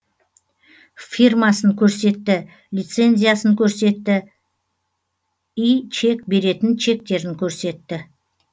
фирмасын көрсетті лицензиясын көрсетті и чек беретін чектерін көрсетті